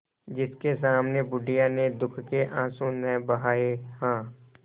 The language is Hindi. जिसके सामने बुढ़िया ने दुःख के आँसू न बहाये हां